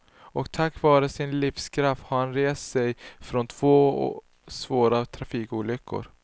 Och tack vare sin livskraft har han rest sig från två svåra trafikolyckor.